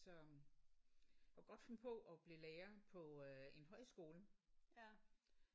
Så jeg kunne godt finde på at blive lærer på øh en højskole